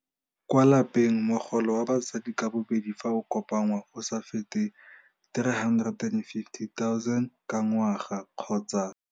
Kwa lapeng mogolo wa batsadi ka bobedi fa o kopanngwa o sa fete R350 000 ka ngwaga kgotsa.